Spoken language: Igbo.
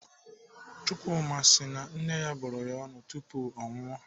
Chukwuma si na nne ya bụrụ ya ọnụ tupu o nwụọ.